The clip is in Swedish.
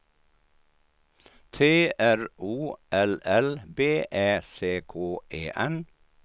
T R O L L B Ä C K E N